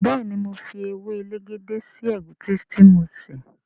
béèni mọ fí ewe elegede sí egusi tí mo ṣe.